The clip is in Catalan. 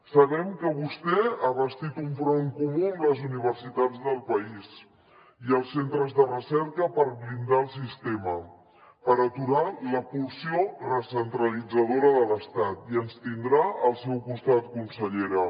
sabem que vostè ha bastit un front comú amb les universitats del país i els centres de recerca per blindar el sistema per aturar la pulsió recentralitzadora de l’estat i ens tindrà al seu costat consellera